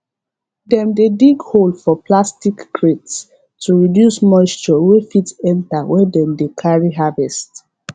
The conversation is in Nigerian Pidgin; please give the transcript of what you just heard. dem dey dig hole for plastic crates to reduce moisture wey fit enter when dem dey carry harvest